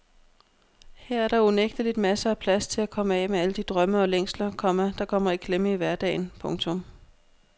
Her er der unægteligt masser af plads til at komme af med alle de drømme og længsler, komma der kommer i klemme i hverdagen. punktum